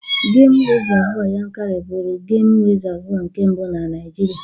Gemụ rizavụ Yankari bụụrụ gem rizavụ nke mbụ na Naijiria.